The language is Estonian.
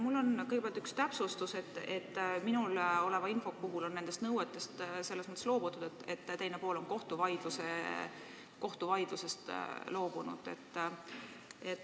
Mul on kõigepealt üks täpsustus: minu käsutuses oleva info põhjal on nendest nõuetest selles mõttes loobutud, et teine pool on kohtuvaidlusest loobunud.